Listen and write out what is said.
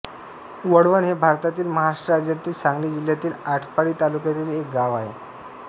वळवण हे भारतातील महाराष्ट्र राज्यातील सांगली जिल्ह्यातील आटपाडी तालुक्यातील एक गाव आहे